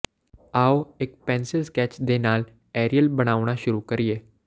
ਆਓ ਇਕ pencil sketch ਦੇ ਨਾਲ ਐਰੀਅਲ ਬਣਾਉਣਾ ਸ਼ੁਰੂ ਕਰੀਏ